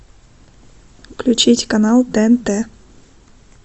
включить канал тнт